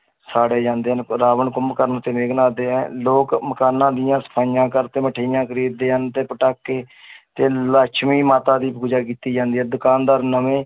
ਸਾੜੇ ਜਾਂਦੇ ਹਨ, ਰਾਵਣ, ਕੁੰਭਕਰਨ ਤੇ ਮੇਘਨਾਥ ਦੇ ਲੋਕ ਮਕਾਨਾਂ ਦੀਆਂ ਸਫ਼ਾਈਆਂ ਕਰਦੇ, ਮਠਿਆਈਆਂ ਖ਼ਰੀਦਦੇ ਹਨ ਤੇ ਪਟਾਕੇ ਤੇ ਲਛਮੀ ਮਾਤਾ ਦੀ ਪੂਜਾ ਕੀਤੀ ਜਾਂਦੀ ਹੈ ਦੁਕਾਨਦਾਰ ਨਵੇਂ